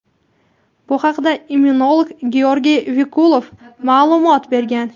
Bu haqda immunolog Georgiy Vikulov ma’lumot bergan.